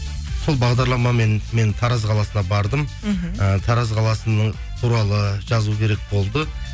сол бағдарламамен мен тараз қаласына бардым мхм і тараз қаласының туралы жазу керек болды